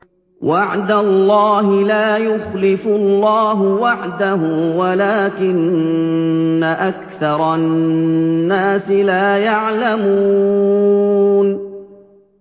وَعْدَ اللَّهِ ۖ لَا يُخْلِفُ اللَّهُ وَعْدَهُ وَلَٰكِنَّ أَكْثَرَ النَّاسِ لَا يَعْلَمُونَ